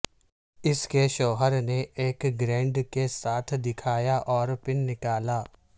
اس کے شوہر نے ایک گرینڈ کے ساتھ دکھایا اور پن نکالا